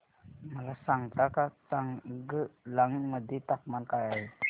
मला सांगता का चांगलांग मध्ये तापमान काय आहे